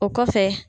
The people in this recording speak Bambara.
O kɔfɛ